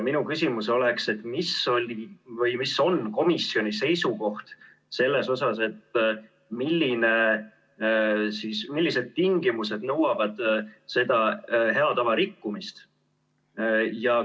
Minu küsimus on, et milline on komisjoni seisukoht selles asjas, millised tingimused nõuavad hea tava rikkumist.